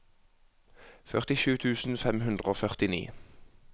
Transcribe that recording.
førtisju tusen fem hundre og førtini